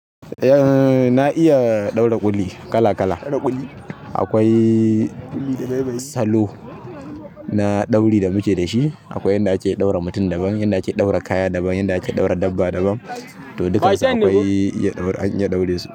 Na iya ɗaura ƙuli kala kala. Akwai salo na dauri da muke da shi, akwai inda ake ɗaura mutum daban, inda ake ɗaura kaya daban, inda ake ɗaura dabba daban to duk dasa akwai iya ɗaura an iya ɗaure su.